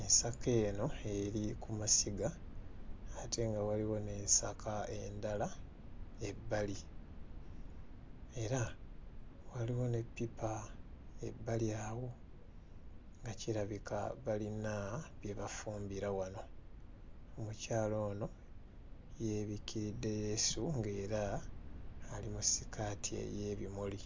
Enska eno eri ku masiga ate nga waliwo n'ensaka endala ebbali era waliwo n'eppipa ebbali awo nga kirabika balina bye bafumbira wano. Omukyala ono yeebikkiridde leesu ng'era ali mu sikaati ey'ebimuli.